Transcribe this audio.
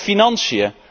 En dan de financiën.